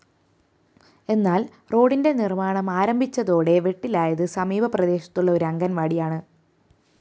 എന്നാല്‍ റോഡിന്റെ നിര്‍മ്മാണമാരംഭിച്ചതോടെ വെട്ടിലായത് സമീപ പ്രദേശത്തുള്ള ഒരു അംഗണവാടിയാണ്